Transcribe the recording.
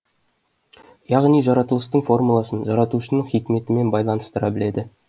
яғни жаратылыстың формуласын жаратушының хикметімен байланыстыра біледі